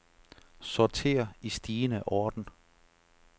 Sorter i stigende orden.